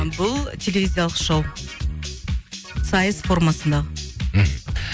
бұл телевизиялық шоу сайыс формасындағы мхм